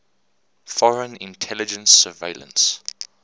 foreign intelligence surveillance